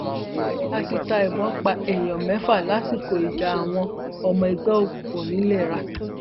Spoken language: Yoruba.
àṣìta ìbọn pa èèyàn mẹfà lásìkò ìjà àwọn ọmọ ẹgbẹ òkùnkùn ńìlera